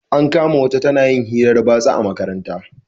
An kama wata ta na yin hiran batsa a makaranta